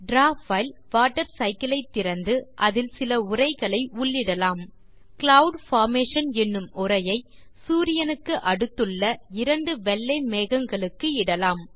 draw file water cycle ஐ திறந்து அதில் சில உரைகளை உள்ளிடலாம் க்ளவுட் பார்மேஷன் என்னும் உரையை சூரியனுக்கு அடுத்துள்ள இரண்டு வெள்ளை மேகங்களுக்கு இடலாம்